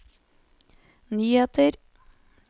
nyheter